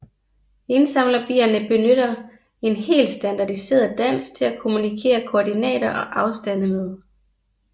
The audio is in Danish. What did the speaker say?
Indsamlerbierne benytter en helt standardiseret dans til at kommunikere koordinater og afstande med